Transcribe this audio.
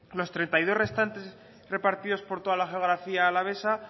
los treinta y dos restantes repartidos por toda la geografía alavesa